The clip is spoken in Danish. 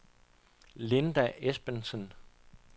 Linda Esbensen